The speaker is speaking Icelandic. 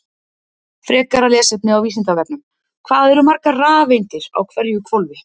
Frekara lesefni á Vísindavefnum: Hvað eru margar rafeindir á hverju hvolfi?